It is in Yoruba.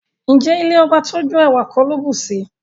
Ǹjẹ́ ilẹ̀ ọbà tó jó, èwà kò ló bùṣí?